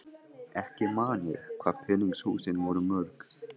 Ekki man ég hvað peningshúsin voru mörg.